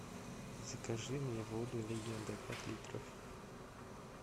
закажи мне воду легенда пять литров